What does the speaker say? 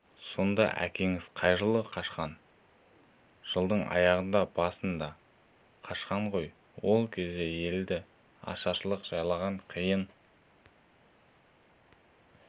сонда әкеңіз қай жылы қашқан жылдың аяғында басында қашқан ғой ол кез елді ашаршылық жайлаған қиын